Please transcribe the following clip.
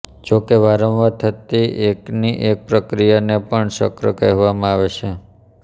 જો કે વાંરવાર થતી એકની એક પ્રક્રિયાને પણ ચક્ર કહેવામાં આવે છે